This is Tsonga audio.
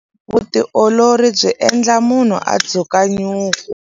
Vutiolori byi endla munhu a dzuka nyuku.